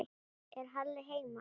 Er Halli heima?